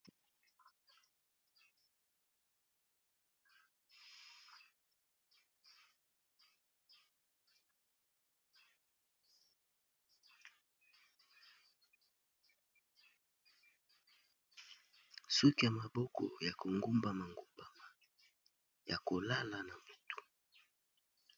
Suki ya maboko ya kongumbama ngumbama ya kolala na butu.